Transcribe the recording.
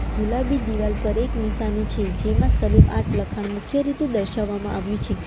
ગુલાબી દિવાલ પર એક નિશાની છે જેમાં સલીમ આર્ટ લખાણ મુખ્ય રીતે દર્શાવવામાં આવ્યું છે.